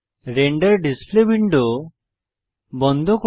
render display window বন্ধ করুন